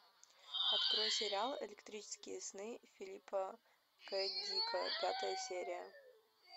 открой сериал электрические сны филипа к дика пятая серия